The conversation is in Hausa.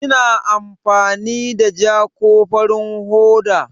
Kina amfani da ja ko farin hoda?